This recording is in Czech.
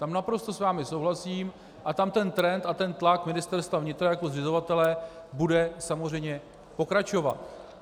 Tam naprosto s vámi souhlasím a tam ten trend a ten tlak Ministerstva vnitra jako zřizovatele bude samozřejmě pokračovat.